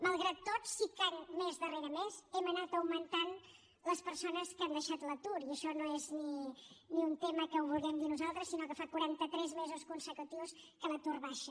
malgrat tot sí que mes darrere mes hem anat augmentant les persones que han deixat l’atur i això no és ni un tema que ho vulguem dir nosaltres sinó que fa quaranta tres mesos consecutius que l’atur baixa